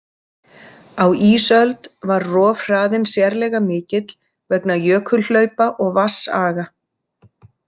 Á ísöld var rofhraðinn sérlega mikill vegna jökulhlaupa og vatnsaga.